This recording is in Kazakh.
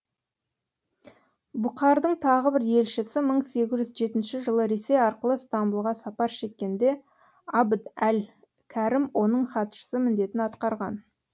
бұқардың тағы бір елшісі мың сегіз жүз жетінші жылы ресей арқылы стамбұлға сапар шеккенде абд әл кәрім оның хатшысы міндетін атқарған